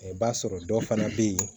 I b'a sɔrɔ dɔw fana bɛ yen